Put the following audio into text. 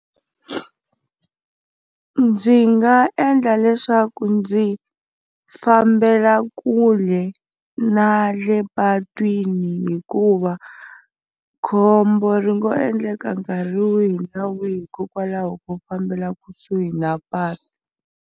Ndzi nga endla leswaku ndzi fambela kule na le patwini hikuva khombo ri ngo endleka nkarhi wihi na wihi hikokwalaho ko fambela kusuhi na patu.